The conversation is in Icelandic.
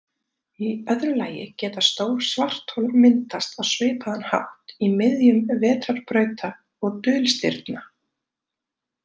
Í öðru lagi geta stór svarthol myndast á svipaðan hátt í miðjum vetrarbrauta og dulstirna.